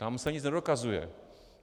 Tam se nic nedokazuje.